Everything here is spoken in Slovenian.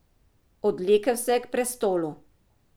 Odvlekel se je k prestolu.